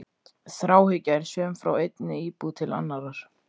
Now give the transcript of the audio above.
Þráhyggja er söm frá einni íbúð til annarrar.